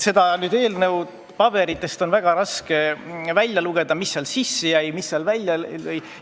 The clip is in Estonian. Eelnõu paberitest on nüüd väga raske välja lugeda, mis sinna sisse jäi ja mis sealt välja läks.